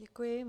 Děkuji.